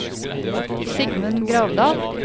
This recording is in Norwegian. Sigmund Gravdal